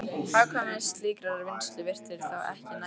Hagkvæmni slíkrar vinnslu virtist þá ekki nægjanleg.